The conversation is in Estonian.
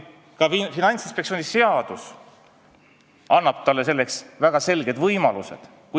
Ka Finantsinspektsiooni seadus annab talle selleks väga selged võimalused.